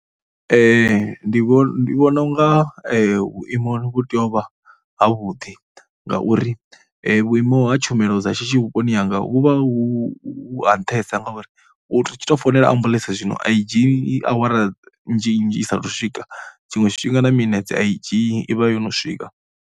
Ndi vhona, ndi vhona u nga vhuimo vhu tea u vha havhuḓi ngauri vhuimo ha tshumelo dza shishi vhuponi hanga hu vha hu ha nṱhesa ngauri u tshi tou founela ambuḽentse zwino a i dzhii awara nnzhinzhi i saathu u swika, tshiṅwe tshifhinga na minetse a i dzhii, i vha yo no swika.